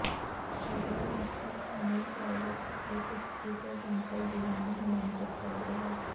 ਸ਼ਰੀਯਾਹ Muslim ਕਾਨੂੰਨ private ਅਤੇ ਇਸਤਰੀ ਦੇ ਜਨਤਕ ਜੀਵਨ ਨੂੰ ਨਿਯੰਤਰਤ ਕਰਦਾ ਹੈ